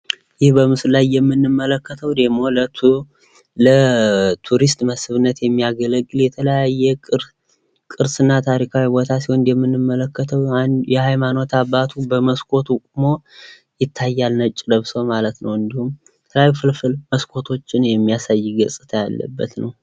ይህ በምስሉ ላይ የምንመለከተው ደሞ ለቱሪስት መስብነት የሚያገለግል የተለያየ ቅርስ እና ታሪካዊ ቦታ ሲሆን ፤ እንደምንመለከተው አንድ የሃይማኖት አባት በመስኮቱ ቁሞ ይታያል ነጭ ለብሶ ማለት ነው ፤ እንዲሁም ከላይ ፍልፍል መስኮቶችን የሚያሳይ ገጽታ ያለበት ነው።